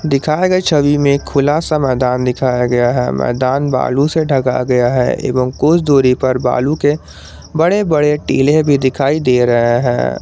दिखाए गए छवि में खुला सा मैदान दिखाया गया है मैदान बालू से ढका गया है एवं कुछ दूरी पर बालू के बड़े बड़े टीले भी दिखाई दे रहे हैं।